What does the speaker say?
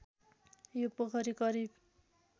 यो पोखरी करिब